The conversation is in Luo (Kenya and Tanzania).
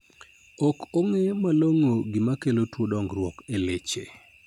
Ok ong'e malong'o gima kelo tuo dongruok e leche.